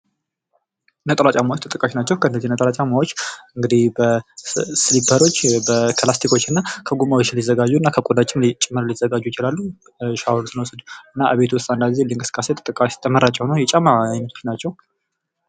ነጠላ ጫማዎች ተጠቃሽ ናቸው ። እነዚህ ነጠላ ጫማዎች ሲሊፐሮች ከላስቲኮችና ከጎማዎች ከቆዳዎች ጭምር ሊዘጋጁ ይችላሉ ።ሻወር ስንወስድ እና ከቤት ውስጥ አንዳንድ እንቅስቃሴዎች ተመራጭ የሆኑ የጫማ አይነቶች ናቸው።